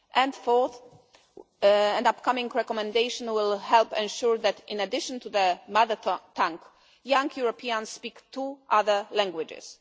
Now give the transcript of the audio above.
And fourth, an upcoming recommendation will help ensure that in addition to their mother tongue, young Europeans speak two other languages.